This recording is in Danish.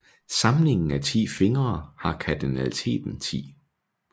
Samlingen af 10 fingre har kardinaliteten 10